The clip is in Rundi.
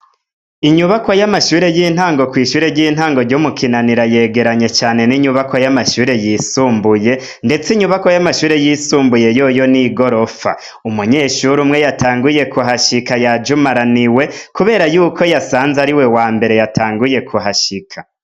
Inyubako y'amashure y'intango kw'ishure ry'intango ry'umukinanira yegeranye cane n'inyubako y'amashure yisumbuye, ndetse inyubako y'amashure yisumbuye yoyo ni i gorofa umunyeshuru umwe yatanguye ku hashika yajumaraniwe, kubera yuko yasanze ari we wa mbere yatanguye ku hashika.